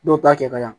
Dɔw ta kɛ ka ɲa